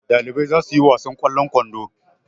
Ɗalibai za su yi wasan ƙwallon kwando.